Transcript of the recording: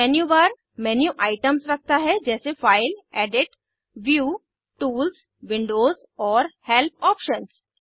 menu bar menu items रखता है जैसे file edit view tools windows और हेल्प ऑप्शन्स